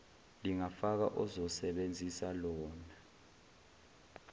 lingafaka ozosebenzisa lawn